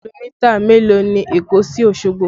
Kìlómítà mélòó ni Èkó sí Osogbo?